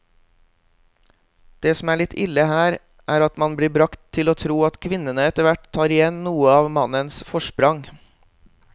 Det som er litt ille her, er at man blir bragt til å tro at kvinnene etterhvert tar igjen noe av mannens forsprang.